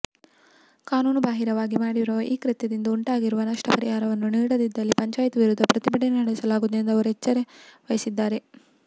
ಕಾನೂನುಬಾಹಿರವಾಗಿ ಮಾಡಿರುವ ಈ ಕೃತ್ಯದಿಂದ ಉಂಟಾಗಿರುವ ನಷ್ಟ ಪರಿಹಾರವನ್ನು ನೀಡದಿದ್ದಲ್ಲಿ ಪಂಚಾಯತ್ ವಿರುದ್ಧ ಪ್ರತಿಭಟನೆ ನಡೆಸಲಾಗುವುದು ಎಂದು ಅವರು ಎಚ್ಚರಿಸಿದ್ದಾರೆ